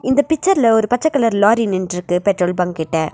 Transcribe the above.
இந்த பிக்சர்ல ஒரு பச்ச கலர்ல லாரி நின்னுட்டு இருக்கு பெட்ரோல் பங்க்கிட்ட.